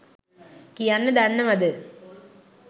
කියන්න දන්නවද?